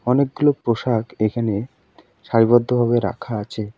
অনেকগুলো পোশাক এখানে সারিবদ্ধ ভাবে রাখা আছে।